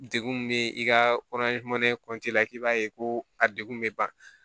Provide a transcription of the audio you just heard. Degun bɛ i ka kɔnɔ ye la k'i b'a ye ko a degun bɛ ban